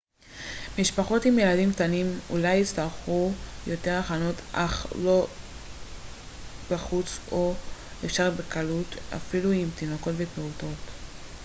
משפחות עם ילדים קטנים אולי יצטרכו יותר הכנות אך יום בחוץ הוא אפשרי בקלות אפילו עם תינוקות ופעוטות